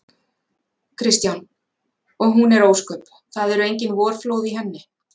Kristján: Og hún er ósköp. það eru engin vorflóð í henni?